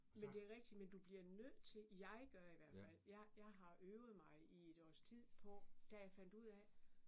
Men det rigtigt men du bliver nødt til jeg gør i hvert fald jeg jeg har øvet mig i et års tid på da jeg fandt ud af